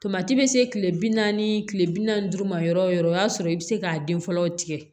Tomati bɛ se kile bi naani ni kile bi naani duuru ma yɔrɔ o yɔrɔ o y'a sɔrɔ i be se k'a den fɔlɔ tigɛ